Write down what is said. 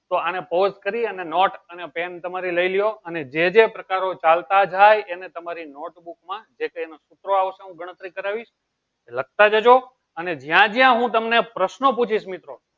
તો આને ફોર્સ કરી અને નોટ અને પેન તમારે લય લિયો અને જે જે પ્રકારો ચાલતા જાયે એને તમારી નોટ બૂક માં ગણતરી કરાવીસ લખતા જજો અને જ્યાં જ્યાં હું તમને પ્રશ્નો પુછીસ મિત્રો